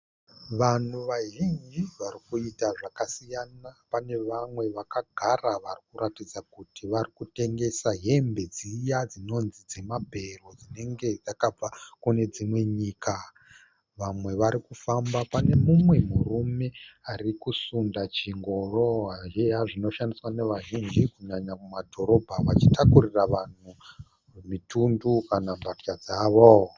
Vanhu vazhinji vari kuita zvakasiyana. Pane vamwe vakagara vari kuratidza kuti vari kutengesa hembe dziya dzinonzi dzemabhero dzinenge dzakabva kune dzimwe nyika. Vamwe vari kufamba, pane mumwe murume ari kusunda chingoro zviya zvinoshandiswa navazhinji kunyanya kumadhorobha vachitakurira vanhu mitundu kana mbatya dzavo.